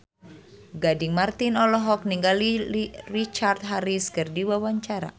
Gading Marten olohok ningali Richard Harris keur diwawancara